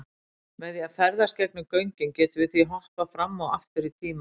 Með því að ferðast gegnum göngin gætum við því hoppað fram og aftur í tíma.